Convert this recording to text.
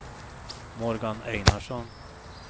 Morgan Einarsson